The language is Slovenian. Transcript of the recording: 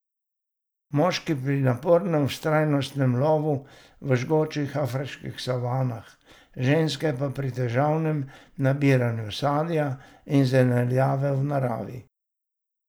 Moški pri napornem vztrajnostnem lovu v žgočih afriških savanah, ženske pa pri težavnem nabiranju sadja in zelenjave v naravi.